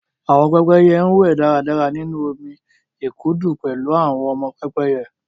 Àwọn pẹ́pẹ́yẹ ń wẹ̀ dáradára nínú omi ìkùdu pẹ̀lú àwọn ọmọ pẹ́pẹ́yẹ